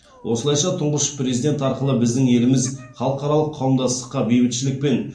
осылайша тұңғыш президент арқылы біздің еліміз халықаралық қауымдастыққа бейбітшілік пен